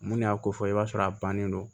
Mun y'a ko fɔ i b'a sɔrɔ a bannen do